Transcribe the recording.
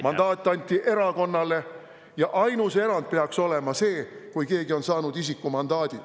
Mandaat anti erakonnale ja ainus erand peaks olema see, kui keegi on saanud isikumandaadi.